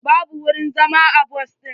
Babu wurin zama a bas ɗin.